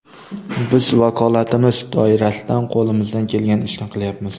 Biz vakolatimiz doirasidan qo‘limizdan kelgan ishni qilyapmiz.